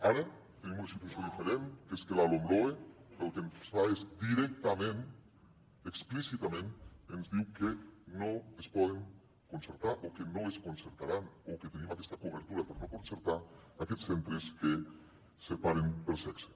ara tenim una situació diferent que és que la lomloe el que fa és directament explícitament ens diu que no es poden concertar o que no es concertaran o que tenim aquesta cobertura per no concertar aquests centres que separen per sexe